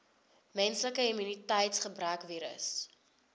menslike immuniteitsgebrekvirus